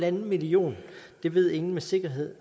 en millioner det ved ingen med sikkerhed